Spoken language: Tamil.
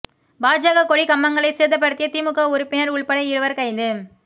பாஜக கொடி கம்பங்களை சேதப்படுத்திய திமுக உறுப்பினா் உள்பட இருவா் கைது